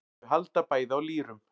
Þau halda bæði á lýrum.